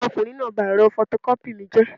Ọmọkùnrin náà ba ẹ̀rọ fọtọkọ́pì mi jẹ́